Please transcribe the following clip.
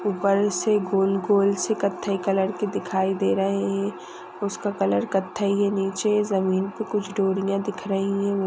ऊपर से गोल गोल सी कत्थई कलर की दिखाई दे रहा है उसका कलर कत्थई है नीचे जमीन को कुछ डोरिया दिख रही है।